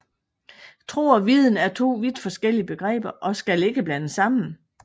Tro og viden er to vidt forskellige begreber og skal ikke blandes sammen